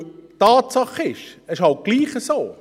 Weil Tatsache ist, es ist halt trotzdem so: